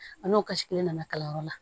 A n'o kasi ne nana kalanyɔrɔ la